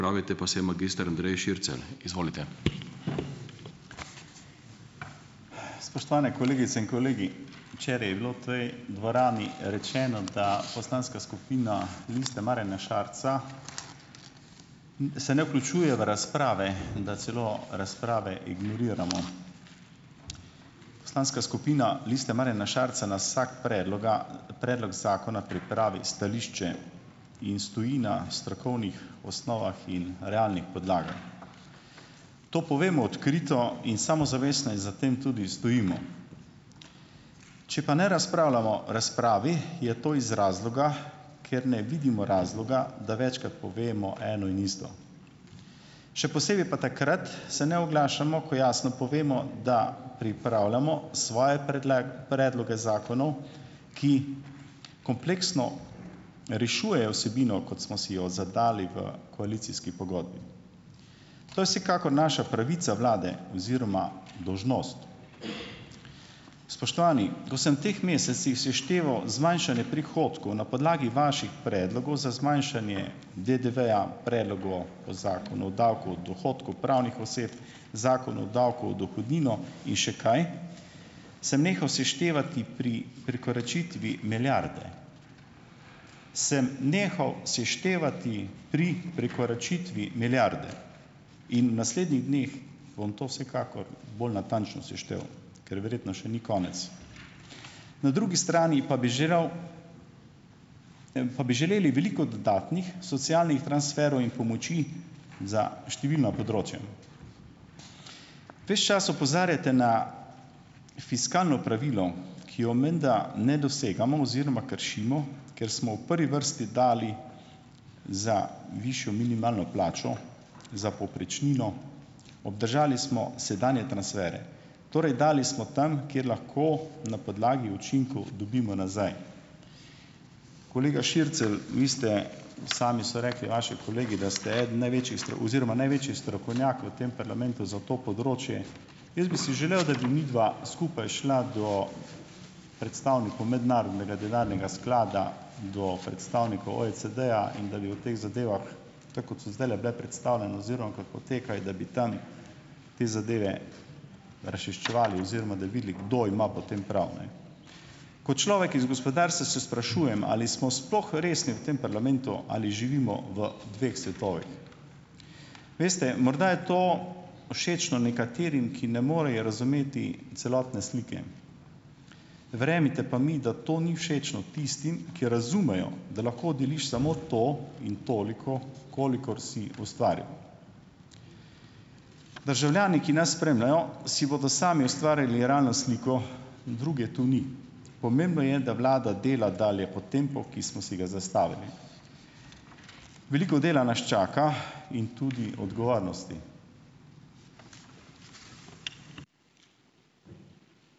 Spoštovane kolegice in kolegi! Včeraj je bilo v tej dvorani rečeno, da poslanska skupina Liste Marjana Šarca, se ne vključuje v razprave in da celo razprave ignoriramo. Poslanska skupina Liste Marjana Šarca na vsak predloga predlog zakona pripravi stališče in stoji na strokovnih osnovah in realnih podlagah. To povemo odkrito in samozavestno in za tem tudi stojimo. Če pa ne razpravljamo v razpravi, je to iz razloga, ker ne vidimo razloga, da večkrat povemo eno in isto. Še posebej pa takrat se ne oglašamo, ko jasno povemo, da pripravljamo svoje predloge zakonov, ki kompleksno rešujejo vsebino, kot smo si jo zadali v koalicijski pogodbi. To je vsekakor naša pravica vlade oziroma dolžnost. Spoštovani! Ko sem v teh mesecih sešteval zmanjšanje prihodkov na podlagi vaših predlogov za zmanjšanje DDV-ja, predlog o, o zakonu o davku od dohodkov pravnih oseb, zakon o davku o dohodnino in še kaj, samo nehal seštevati pri prekoračitvi milijarde. Sem nehal seštevati pri prekoračitvi milijarde. In v naslednjih dneh bom to vsekakor bolj natančno seštel, ker verjetno še ni konec. Na drugi strani pa bi želel, pa bi želeli veliko dodatnih socialnih transferov in pomoči za številna področja. Ves čas opozarjate na fiskalno pravilo, ki ga menda ne dosegamo oziroma kršimo, ker smo v prvi vrsti dali za višjo minimalno plačo, za povprečnino, obdržali smo sedanje transfere. Torej, dali smo tam, kjer lahko na podlagi učinkov dobimo nazaj. Kolega Šircelj, vi ste, sami so rekli vaši kolegi, da ste eden največjih oziroma oziroma največji strokovnjak v tem parlamentu za to področje. Jaz bi si želel, da bi midva skupaj šla do predstavnikov Mednarodnega denarnega sklada, do predstavnikov OECD-ja in da bi o teh zadevah, tako kot so zdajle bile predstavljene oziroma kot potekajo, da bi tam te zadeve razčiščevali oziroma da bi videli, kdo ima potem prav, ne. Kot človek iz gospodarstva se sprašujem, ali smo sploh resni v tem parlamentu ali živimo v dveh svetovih. Veste, morda je to všečno nekaterim, ki ne morejo razumeti celotne slike. Verjemite pa mi, da to ni všečno tistim, ki razumejo, da lahko deliš samo to in toliko, kolikor si ustvaril. Državljani, ki nas spremljajo, si bodo sami ustvarili realno sliko, druge tu ni. Pomembno je, da vlada dela dalje po tempu, ki smo si ga zastavili. Veliko dela nas čaka in tudi odgovornosti.